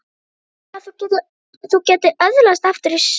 Trúirðu að þú getir öðlast aftur sjónina?